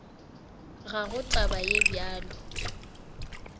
ga go taba ye bjalo